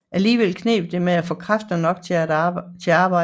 Alligevel kneb det med at få kræfter nok til arbejdet